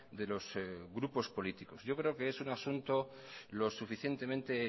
de los grupos políticos yo creo que es un asunto lo suficientemente